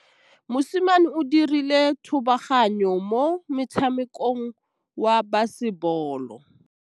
Mosimane o dirile thubaganyô mo motshamekong wa basebôlô.